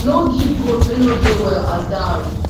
no give goat wey no dey well as dowry